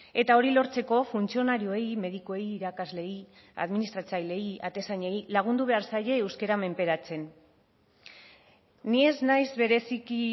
eta hori lortzeko funtzionarioei medikuei irakasleei administratzaileei atezainei lagundu behar zaie euskara menperatzen ni ez naiz bereziki